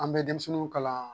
An bɛ denmisɛnninw kalan